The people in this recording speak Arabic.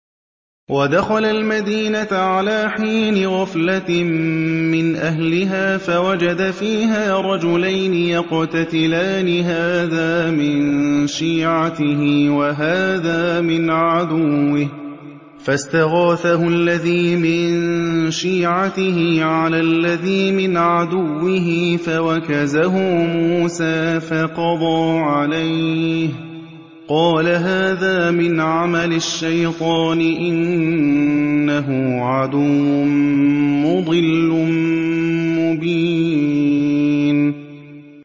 وَدَخَلَ الْمَدِينَةَ عَلَىٰ حِينِ غَفْلَةٍ مِّنْ أَهْلِهَا فَوَجَدَ فِيهَا رَجُلَيْنِ يَقْتَتِلَانِ هَٰذَا مِن شِيعَتِهِ وَهَٰذَا مِنْ عَدُوِّهِ ۖ فَاسْتَغَاثَهُ الَّذِي مِن شِيعَتِهِ عَلَى الَّذِي مِنْ عَدُوِّهِ فَوَكَزَهُ مُوسَىٰ فَقَضَىٰ عَلَيْهِ ۖ قَالَ هَٰذَا مِنْ عَمَلِ الشَّيْطَانِ ۖ إِنَّهُ عَدُوٌّ مُّضِلٌّ مُّبِينٌ